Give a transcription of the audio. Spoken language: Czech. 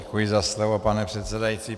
Děkuji za slovo, pane předsedající.